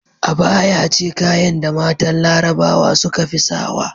Abaya ce kayan da matan larabawa sukafi sawa